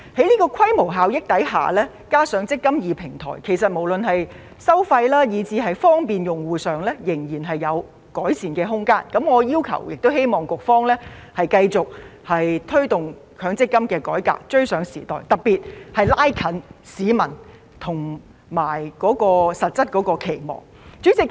在規模效益下，加上"積金易"平台，其實無論在收費以至方便用戶方面，仍有改善的空間，我要求並希望局方繼續推動強積金改革，追上時代，特別是拉近與市民實質期望的距離。